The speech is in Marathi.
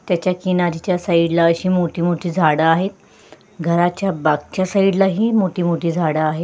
त्याच्या किनारीच्या साईड ला अशी मोठी मोठी झाड आहेत घराच्या मागच्या साईड लाही मोठी मोठी झाड आहेत.